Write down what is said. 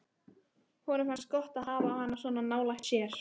Honum finnst gott að hafa hana svona nálægt sér.